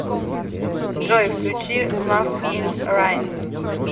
джой включи лав ин райнс